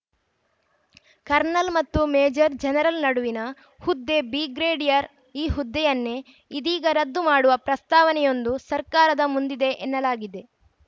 kernel ಮತ್ತು major general ನಡುವಿನ ಹುದ್ದೆ ಬ್ರಿಗೇಡಿಯರ್‌ ಈ ಹುದ್ದೆಯನ್ನೇ ಇದೀಗ ರದ್ದು ಮಾಡುವ ಪ್ರಸ್ತಾವನೆಯೊಂದು ಸರ್ಕಾರದ ಮುಂದಿದೆ ಎನ್ನಲಾಗಿದೆ